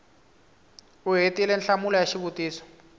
u hetile nhlamulo ya xivutiso